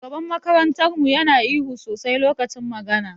Shugaban makarantar mu Yana ihu sosai lokacin magana.